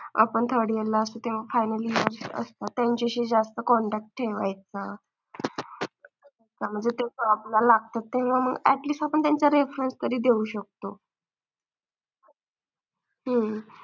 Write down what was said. आपण third year ला असतो तेव्हा final year ला असतात तत्यांच्याशी जास्त contact ठेवायचा, म्हणजे ते आपला लागत ते किंवा मग atleast आपण त्यांचा reference तरी देऊ शकतो. हम्म